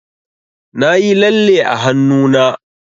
Nayi lalle a hannuna.